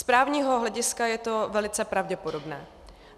Z právního hlediska je to velice pravděpodobné.